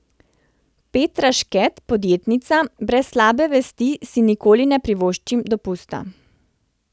Petra Šket, podjetnica: "Brez slabe vesti si nikoli ne privoščim dopusta.